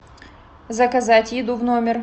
заказать еду в номер